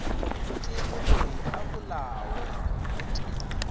ke moloi a bolawe gotee